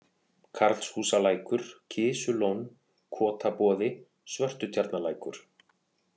Karlshúsalækur, Kisulón, Kotaboði, Svörtutjarnalækur